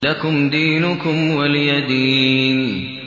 لَكُمْ دِينُكُمْ وَلِيَ دِينِ